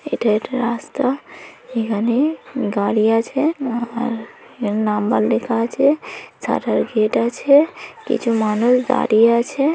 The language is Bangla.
এটাই রাস্তা এখানে গাড়ি আছে নাম্বার লেখা আছে সাটার গেট আছে কিছু মানুষ দাঁড়িয়ে আছে ।